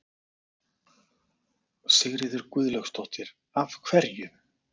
Sigríður Guðlaugsdóttir: Af hverju?